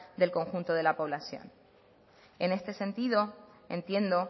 del conjunto de la población en este sentido entiendo